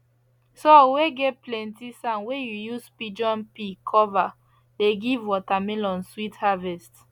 soil whey get plenty sand whey you use pigeon pea cover dey give watermelon sweet harvest